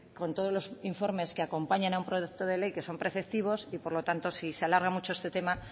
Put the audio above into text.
con todos los informes que acompañan a un proyecto de ley que son preceptivos y por lo tanto si se alarga mucho este tema